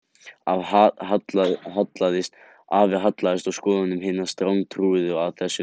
Afi hallaðist að skoðunum hinna strangtrúuðu að þessu leyti